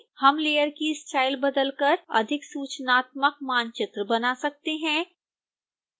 हम लेयर की स्टाइल बदलकर अधिक सूचनात्मक मानचित्र बना सकते हैं